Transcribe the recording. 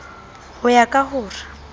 ho ya ka ho re